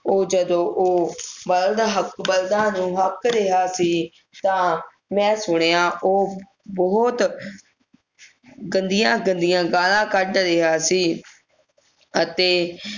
ਉਹ ਜਦੋਂ ਉਹ ਬਲਦ ਹੱਕ ਬਲਦਾਂ ਨੂੰ ਹੱਕ ਰਿਹਾ ਸੀ ਤਾਂ ਮੈਂ ਸੁਣਿਆ ਉਹ ਬਹੁਤ ਗੰਦੀਆਂ ਗੰਦੀਆਂ ਗਾਲਾਂ ਕੱਢ ਰਿਹਾ ਸੀ ਅਤੇ